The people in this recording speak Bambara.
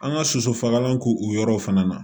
An ka soso fagalan k'o yɔrɔw fana na